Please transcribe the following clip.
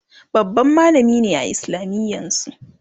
babban mallami ne a islamiyan su